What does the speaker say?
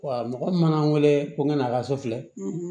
mɔgɔ min mana wele ko nk'a ka so filɛ